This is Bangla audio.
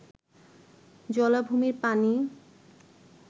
জলাভূমির পানি